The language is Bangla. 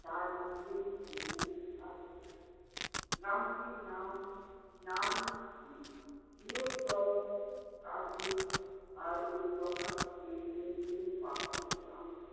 তার নীচে সবুজ ঘাসবন। গ্রামটির নাম বৃহত্তর কাশ্মীর উপত্যকা পাহাড়ি গ্রাম